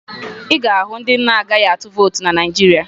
Ị ga-ahụ ndị na-anaghị atụ vootu na Naịjirịa